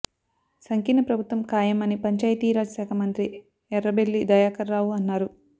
సంకీర్ణ ప్రభుత్వం ఖాయం అని పంచాయతీ రాజ్ శాఖ మంత్రి ఎర్రబెల్లి దయాకర్ రావు అన్నారు